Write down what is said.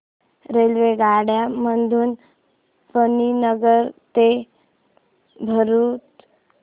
रेल्वेगाड्यां मधून मणीनगर ते भरुच